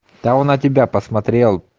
да он на тебя посмотрел